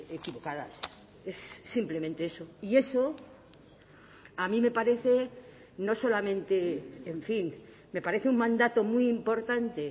equivocadas es simplemente eso y eso a mí me parece no solamente en fin me parece un mandato muy importante